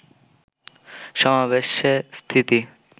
সমাবেশে স্মৃতি